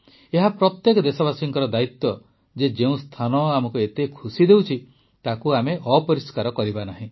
ଏହା ପ୍ରତ୍ୟେକ ଦେଶବାସୀଙ୍କର ଦାୟିତ୍ୱ ଯେ ଯେଉଁ ସ୍ଥାନ ଆମକୁ ଏତେ ଖୁସି ଦେଉଛି ତାକୁ ଆମେ ଅପରିଷ୍କାର କରିବା ନାହିଁ